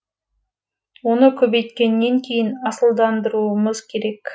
оны көбейткеннен кейін асылдандыруымыз керек